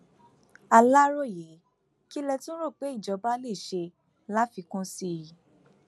aláròyé kí lẹ tún rò pé ìjọba lè ṣe láfikún sí i